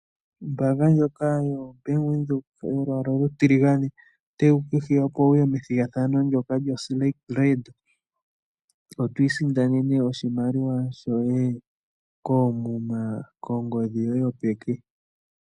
Ombaanga ndjoka yaVenduka yolwaala olutiligane otayi ku hiya opo wute methigathano lyo Selekt Red to isindanena oshimaliwa koomuma kongodhi yoye yopeke